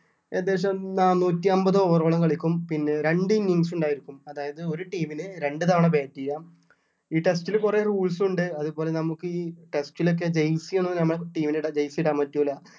ഏകദേശം നാന്നൂറ്റിഅമ്പത് over ഓളം കളിക്കും പിന്നെ രണ്ടു innings ഉണ്ടായിരിക്കും അതായത് ഒരു team ന് രണ്ടു തവണ bat ചെയ്യാം ഈ test ല് കുറെ rules ഉണ്ട് അതുപോലെ നമുക്ക് ഈ test ലൊക്കെ jersey ഒന്നും നമ്മുടെ team നിടാൻ jersey ഒന്നും പറ്റൂല്ല